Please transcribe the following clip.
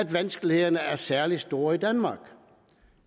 vanskelighederne er særlig store i danmark